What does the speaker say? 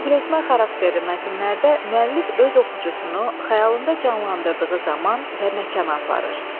Nəql etmə xarakterli mətnlərdə müəllif öz oxucusunu xəyalında canlandırdığı zaman və məkana aparır.